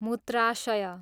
मुत्राशय